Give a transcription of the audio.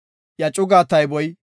Iya cugaa tayboy 74,600.